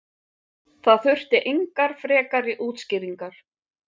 Það þurfti engar frekari útskýringar.